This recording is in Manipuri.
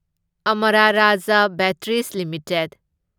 Amara Raja batteries limited